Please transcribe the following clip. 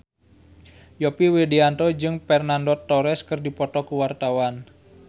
Yovie Widianto jeung Fernando Torres keur dipoto ku wartawan